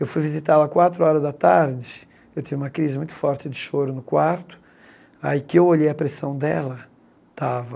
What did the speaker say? Eu fui visitá-la quatro horas da tarde, eu tive uma crise muito forte de choro no quarto, aí que eu olhei a pressão dela, tava...